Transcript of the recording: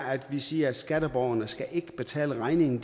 at vi siger at skatteborgerne ikke skal betale regningen